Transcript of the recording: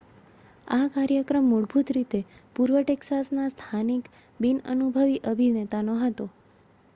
આ કાર્યક્રમ મૂળભત રીતે પૂર્વ ટેક્સાસના સ્થાનિક બિન અનુભવી અભિનેતાનો હતો